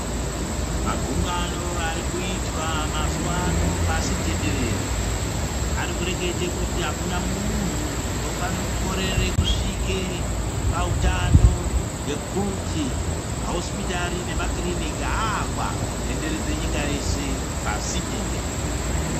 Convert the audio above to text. Magungano arikuitwa mazuva ano pasitenderere,.Arikurekete kuti akuna muntu unofane kukorere kusvike pautano nekuti mahosipitari nemakiriniki avakwa kutenderedze nyika yese, pasi tenderere